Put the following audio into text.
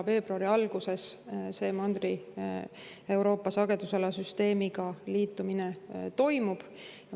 Veebruari alguses see Mandri-Euroopa sagedusala süsteemiga liitumine toimub.